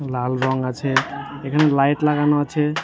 লাল রং আছে | এখানে লাইট লাগানো আছে ।